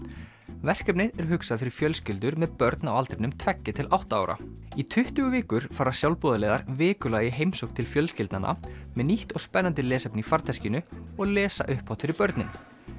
verkefnið er hugsað fyrir fjölskyldur með börn á aldrinum tveggja til átta ára í tuttugu vikur fara sjálfboðaliðar vikulega í heimsókn til fjölskyldnanna með nýtt og spennandi lesefni í farteskinu og lesa upphátt fyrir börnin